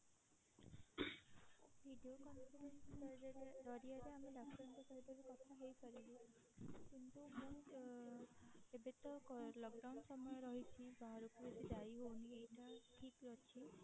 video call ଜରିଆରେ ଆମେ ଡାକ୍ତରଙ୍କ ସହିତ ବି କଥା ହେଇପାରିବୁ କିନ୍ତୁ ମୁଁ ଏବେ ତ lockdown ସମୟ ରହିଛି ବାହାରକୁ ବେସୀ ଯାଇ ହୋଉନି ଏଇଟା ଠିକ ଅଛି